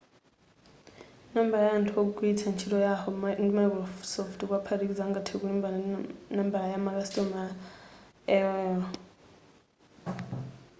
nambala ya anthu womwe amagwilitsa yahoo ndi microsoft kuwaphatikiza angathe kulimbana ndi nambala ya makasitomala aol